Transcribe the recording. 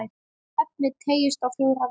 Efnið teygist á fjóra vegu.